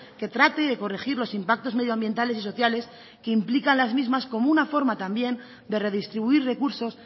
que trate de corregir los impactos medioambientales y sociales que implican las mismas como una forma también de redistribuir recursos